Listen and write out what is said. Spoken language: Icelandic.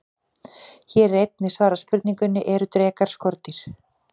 Hér er einnig svarað spurningunni: Eru drekar skordýr?